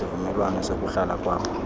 isivumelwano sokuhlala kwam